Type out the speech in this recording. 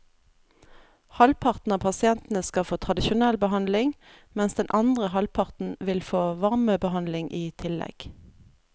Halvparten av pasientene skal få tradisjonell behandling, mens den andre halvparten vil få varmebehandling i tillegg.